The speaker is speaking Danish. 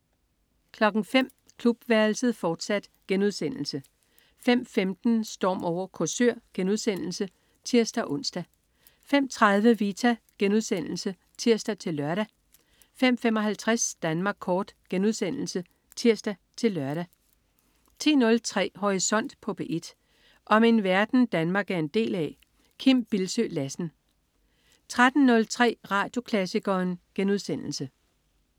05.00 Klubværelset, fortsat* 05.15 Storm over Korsør* (tirs-ons) 05.30 Vita* (tirs-lør) 05.55 Danmark Kort* (tirs-lør) 10.03 Horisont på P1. Om den verden, Danmark er en del af. Kim Bildsøe Lassen 13.03 Radioklassikeren*